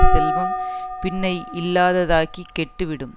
செல்வம் பின்னை இல்லாததாகிக் கெட்டுவிடும்